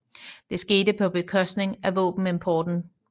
Det skete på bekostning af våbenimporten